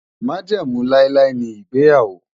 Májẹ̀mú láíláí ni ìgbéyàwó.